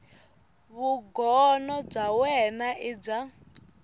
vugono bya wena i bya